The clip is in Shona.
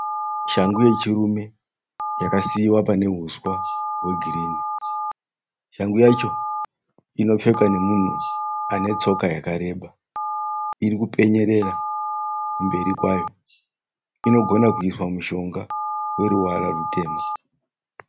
Shangu yechirume yakasiiwa pane uswa hwegirini. Shangu yacho inopfekwa nemunhu ane tsoka yakareba. Iri kupenyererera kumberi kwayo. Inogona kuiswa mushonga.